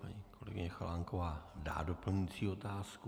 Paní kolegyně Chalánková dá doplňující otázku.